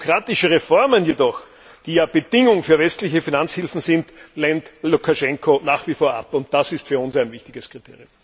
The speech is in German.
Demokratische Reformen jedoch, die ja Bedingung für westliche Finanzhilfen sind, lehnt Lukaschenko nach wie vor ab, und das ist für uns ein wichtiges Kriterium.